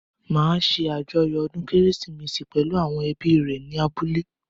Mo máa ṣé àjọyọ̀ ọdún kérésìmesì pẹ̀lú àwọn ẹbí rẹ̀ ní abúlé